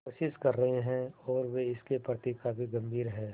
कोशिश कर रहे हैं और वे इसके प्रति काफी गंभीर हैं